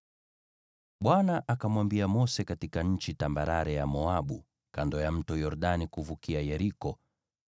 Bwana akamwambia Mose katika nchi tambarare ya Moabu, kando ya Mto Yordani kuvukia Yeriko,